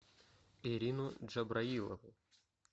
ирину джабраилову